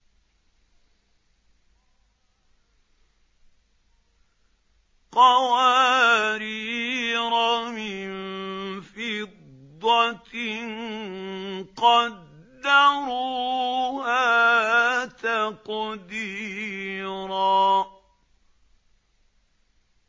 قَوَارِيرَ مِن فِضَّةٍ قَدَّرُوهَا تَقْدِيرًا